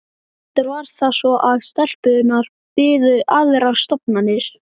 Reyndar var það svo að stelpunnar biðu aðrar stofnanir.